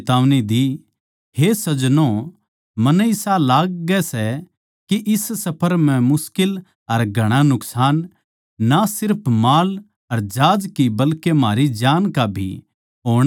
हे सज्जनों मन्नै इसा लाग्गै सै के इस सफर म्ह मुश्किल अर घणा नुकसान ना सिर्फ माळ अर जहाज की बल्के म्हारी जान का भी होणआळा सै